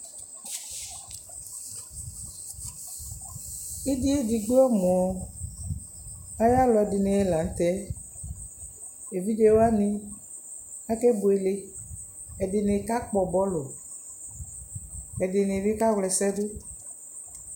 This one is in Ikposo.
Ɩdɩ edigbo ɔmʋ ayʋ alʋ ɛdɩnɩ la nʋ tɛ Evidze wanɩ akebuele Ɛdɩnɩ kakpɔ bɔlʋ Ɛdɩnɩ bɩ kawla ɛsɛ dʋ